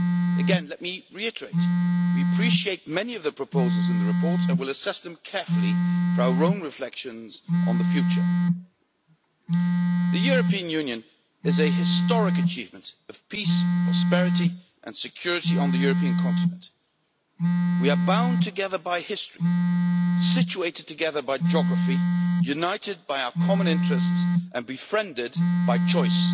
Again, let me reiterate we appreciate many of the proposals in the report and will assess them carefully for our own reflections on the future. The European Union is a historic achievement of peace, prosperity and security on the European continent. We are bound together by history, situated together by geography, united by our common interests and befriended by choice.